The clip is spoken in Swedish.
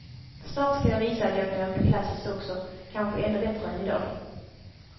Snart ska jag visa att jag kan åka klassiskt också, kanske ännu bättre än idag.